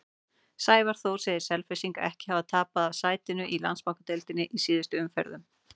Sævar Þór segir Selfyssinga ekki hafa tapað af sætinu í Landsbankadeildinni í síðustu umferðunum.